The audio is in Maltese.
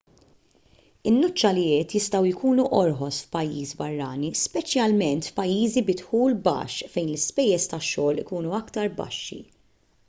in-nuċċalijiet jistgħu jkunu orħos f'pajjiż barrani speċjalment f'pajjiżi bi dħul baxx fejn l-ispejjeż tax-xogħol ikunu aktar baxxi